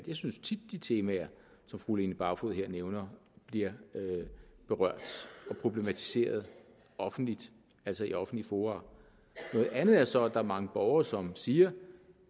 jeg synes tit at de temaer som fru line barfod nævner bliver berørt og problematiseret offentligt altså i offentlige fora noget andet er så at der er mange borgere som siger